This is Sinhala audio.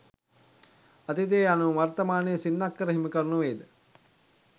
අතීතය යනු ම වර්තමානයේ සින්නක්කර හිමිකරු නොවේ ද?